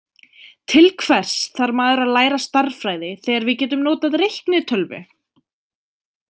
Til hvers þarf maður að læra stærðfræði þegar við getum notað reiknitölvu?